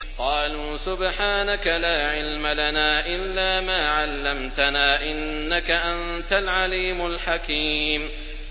قَالُوا سُبْحَانَكَ لَا عِلْمَ لَنَا إِلَّا مَا عَلَّمْتَنَا ۖ إِنَّكَ أَنتَ الْعَلِيمُ الْحَكِيمُ